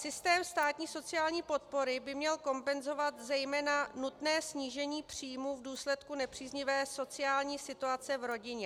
Systém státní sociální podpory by měl kompenzovat zejména nutné snížení příjmů v důsledku nepříznivé sociální situace v rodině.